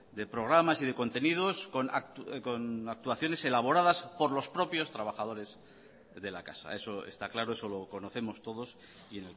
de programas y de contenidos con actuaciones elaboradas por los propios trabajadores de la casa eso está claro eso lo conocemos todos y